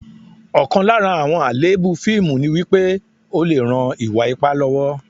Ọ̀kan lára àwọn àléébù fíìmù ni wípé, ó lè ran ìwà ipá lọ́wọ́